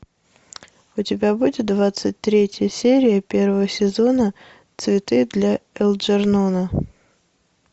у тебя будет двадцать третья серия первого сезона цветы для элджернона